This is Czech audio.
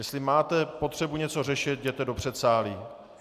Jestli máte potřebu něco řešit, jděte do předsálí.